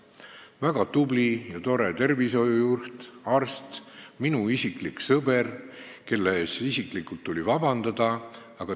See oli väga tubli ja tore tervishoiujuht, arst, minu sõber, kellelt tuli isiklikult vabandust paluda.